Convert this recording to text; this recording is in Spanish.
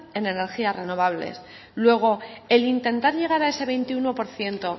en energías renovables luego el intentar llegar a ese veintiuno por ciento